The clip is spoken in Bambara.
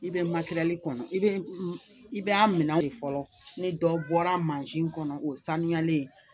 I bɛ kɔnɔ i bɛ i bɛ a minɛ de fɔlɔ ni dɔ bɔra mansin kɔnɔ o ye sanuyalen ye